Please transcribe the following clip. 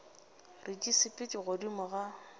re di sepela godimo ga